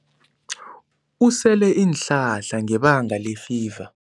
Usele iinhlahla ngebanga lefiva.